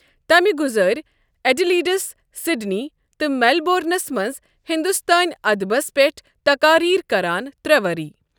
تمہِ گزٲرۍ ایڈلیڈس، سِڈنی تہٕ میلبورنس منٛز ہِندوستٲنہِ ادبس پیٹھ تقاریر کران ترٛےٚ ؤری۔